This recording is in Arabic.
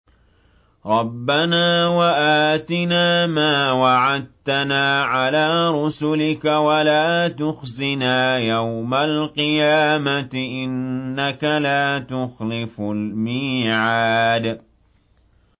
رَبَّنَا وَآتِنَا مَا وَعَدتَّنَا عَلَىٰ رُسُلِكَ وَلَا تُخْزِنَا يَوْمَ الْقِيَامَةِ ۗ إِنَّكَ لَا تُخْلِفُ الْمِيعَادَ